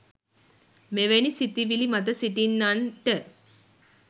මෙවැනි සිතිවිලි මත සිටින්නන්ට